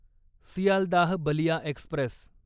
Sealdah Ballia Express